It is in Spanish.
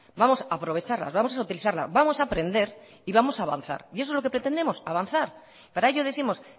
vamos a aprovecharlas vamos a utilizarla vamos a aprender y vamos a avanzar y eso es lo que pretendemos avanzar para ello décimos